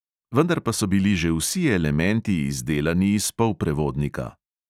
Vendar pa so bili že vsi elementi izdelani iz polprevodnika.